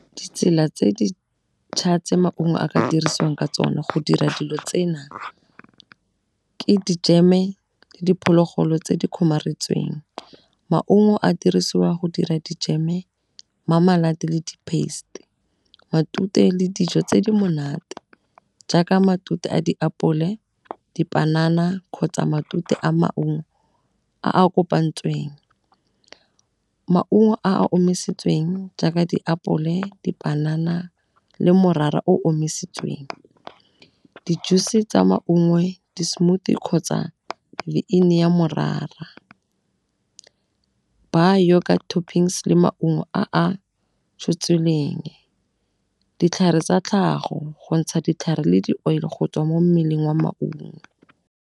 Ditsela tse di'tšha tse maungo a ka dirisiwang ka tsona go dira dilo tsena ke di jam-e le diphologolo tse di kgomaretseng. Maungo a dirisiwa go dira di jam-e le di paste, matute le dijo tse di monate. Jaaka matute a diapole, dipanana kgotsa matute a maungo a a kopantsweng. Maungo a a omisitsweng jaaka diapole, dipanana le morara o omisitsweng. Di-juice tsa maungo, di smoothie kgotsa ya morara. Ba yoga toppings le maungo a a tshotsweleng, ditlhare tsa tlhago go ntsha ditlhare le di-oil go tswa mo mmeleng wa maungo.